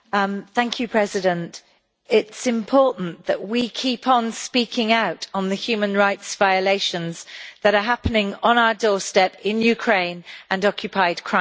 Mr President, it is important that we keep on speaking out on the human rights violations that are happening on our doorstep in Ukraine and occupied Crimea.